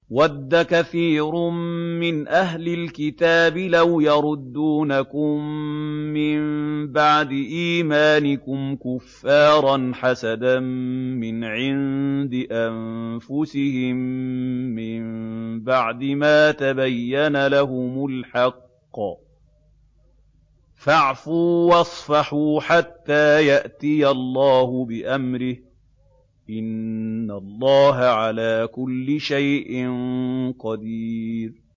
وَدَّ كَثِيرٌ مِّنْ أَهْلِ الْكِتَابِ لَوْ يَرُدُّونَكُم مِّن بَعْدِ إِيمَانِكُمْ كُفَّارًا حَسَدًا مِّنْ عِندِ أَنفُسِهِم مِّن بَعْدِ مَا تَبَيَّنَ لَهُمُ الْحَقُّ ۖ فَاعْفُوا وَاصْفَحُوا حَتَّىٰ يَأْتِيَ اللَّهُ بِأَمْرِهِ ۗ إِنَّ اللَّهَ عَلَىٰ كُلِّ شَيْءٍ قَدِيرٌ